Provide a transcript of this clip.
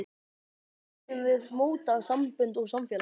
Hvernig viljum við móta sambönd og samfélag?